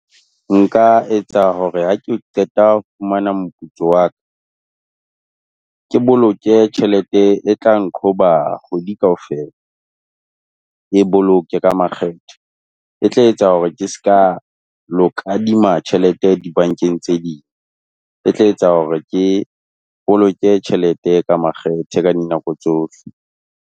Nka etsa hore ha ke qeta ho fumana moputso wa ka, ke boloke tjhelete e tlang nqhoba kgwedi kaofela. Ke e boloke ka makgethe. E tla etsa hore ke se ka lo kadima tjhelete dibankeng tse ding. E tla etsa hore ke boloke tjhelete ka makgethe ka dinako tsohle.